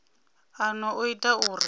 a no o ita uri